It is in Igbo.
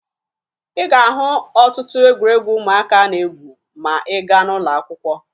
Ị ga-ahụ ọtụtụ egwuregwu ụmụaka na-egwu ma ị gaa n'ụlọakwụkwọ